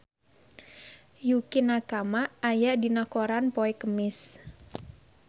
Yukie Nakama aya dina koran poe Kemis